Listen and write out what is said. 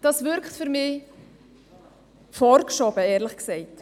Das wirkt für mich vorgeschoben, ehrlich gesagt.